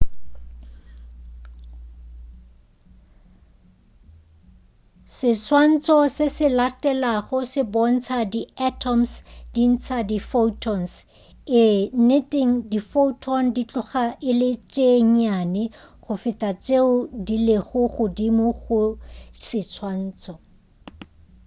seswantšho se se latelago se bontša di atoms di ntša di photons ee nneteng di photon di tloga e le tše nnyane go feta tšeo di lego godimo ga seswantšho